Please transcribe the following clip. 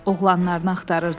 Oğlanlarını axtarırdılar.